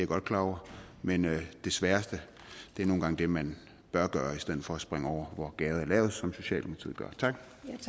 godt klar over men det sværeste er nogle gange det man bør gøre i stedet for at springe over hvor gærdet er lavest som socialdemokratiet gør tak